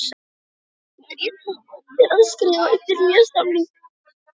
Væri ég tilbúinn til að skrifa undir nýjan samning?